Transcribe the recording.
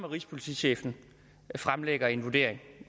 rigspolitichefen fremlægger en vurdering